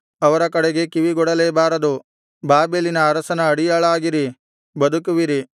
ಅವರ ಕಡೆಗೆ ಕಿವಿಗೊಡಲೇ ಬಾರದು ಬಾಬೆಲಿನ ಅರಸನ ಅಡಿಯಾಳಾಗಿರಿ ಬದುಕುವಿರಿ